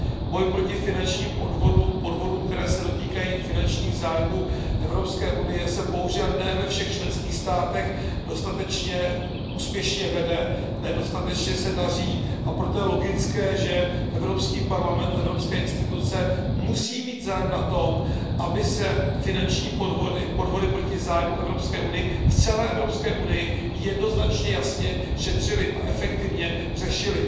Boj proti finančním podvodům, podvodům, které se dotýkají finančních zájmů Evropské unie, se bohužel ne ve všech členských státech dostatečně úspěšně vede, nedostatečně se daří, a proto je logické, že Evropský parlament, evropské instituce musí mít zájem na tom, aby se finanční podvody, podvody proti zájmům Unie v celé Evropské unii jednoznačně, jasně šetřily a efektivně řešily.